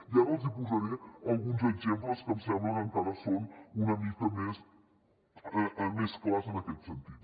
i ara els posaré alguns exemples que em sembla que encara són una mica més clars en aquest sentit